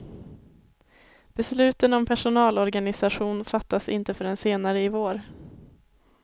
Besluten om personalorganisation fattas inte förrän senare i vår.